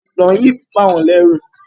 Ìtàn yí ń bá wón lérù.